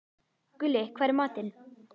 Gulli, hvað er í matinn?